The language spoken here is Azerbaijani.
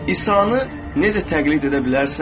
İsanı necə təqlid edə bilərsən?